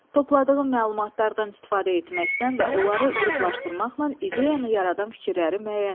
Topladığın məlumatlardan istifadə etməkdən və onları qruplaşdırmaqla ideyanı yaradan fikirləri müəyyən et.